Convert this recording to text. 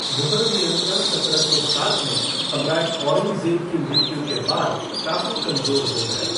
मुगल नियंत्रण सत्रह सौ सात में सम्राट औरंगज़ेब की मृत्यु के बाद काफ़ी कमज़ोर हो गया।